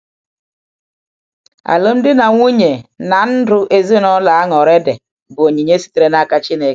Alụmdi na nwunye na na ndụ ezinụlọ añụrị dị bụ onyinye sitere n’aka Chineke.